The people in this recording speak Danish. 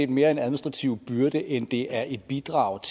mere er en administrativ byrde end det er et bidrag